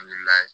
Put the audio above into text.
An wulila